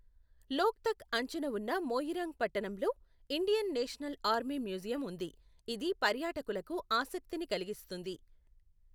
లోక్తక్ అంచున ఉన్న మొయిరాంగ్ పట్టణంలో ఇండియన్ నేషనల్ ఆర్మీ మ్యూజియం ఉంది, ఇది పర్యాటకులకు ఆసక్తిని కలిగిస్తుంది.